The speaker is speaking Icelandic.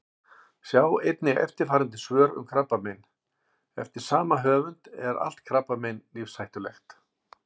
Sjá einnig eftirfarandi svör um krabbamein: Eftir sama höfund Er allt krabbamein lífshættulegt?